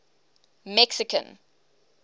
mexican